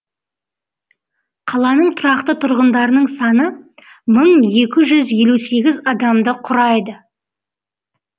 қаланың тұрақты тұрғындарының саны мың екі жүз елу сегіз адамды құрайды